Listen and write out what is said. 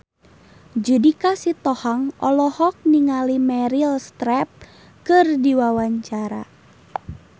Judika Sitohang olohok ningali Meryl Streep keur diwawancara